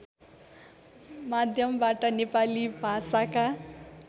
माध्यमबाट नेपाली भाषाका